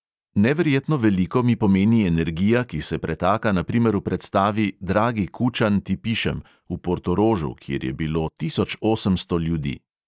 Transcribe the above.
Neverjetno veliko mi pomeni energija, ki se pretaka na primer v predstavi "dragi kučan, ti pišem" v portorožu, kjer je bilo tisoč osemsto ljudi …